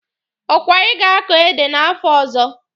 Ọkwa ị ga-akọ ede n'afọ ọzọ?